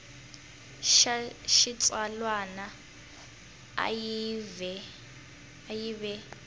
xa xitsalwana a yi ve